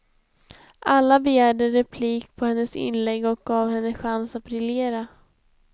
Alla begärde replik på hennes inlägg och gav henne chans att briljera.